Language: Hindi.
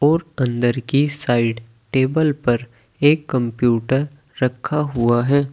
और अंदर की साइड टेबल पर एक कंप्यूटर रखा हुआ है।